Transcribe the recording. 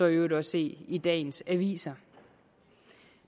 øvrigt også se i dagens aviser